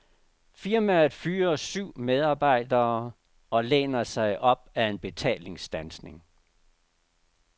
Firmaet fyrer syv medarbejdere og læner sig op af en betalingsstandsning.